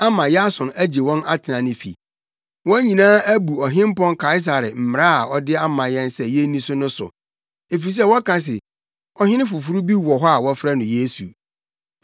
ama Yason agye wɔn atena ne fi. Wɔn nyinaa abu Ɔhempɔn Kaesare mmara a ɔde ama yɛn sɛ yenni so no so, efisɛ wɔka se ɔhene foforo bi wɔ hɔ a wɔfrɛ no Yesu.”